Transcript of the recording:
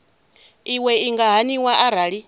iwe i nga haniwa arali